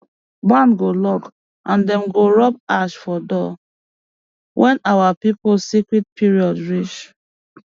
barn go lock and dem go rub ash for door when our people sacred period reach